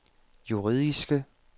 juridiske